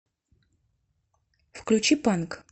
включи панк